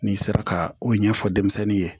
N'i sera ka o ɲɛfɔ denmisɛnnin ye